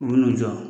U bɛ n'u jɔ